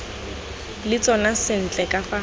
le tsona sentle ka fa